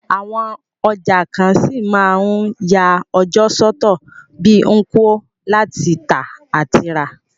Àwon ọjà kan ṣí ma n ya ọjọ́ sọ́tọ̀ bi Nkwo, láti tà àti rà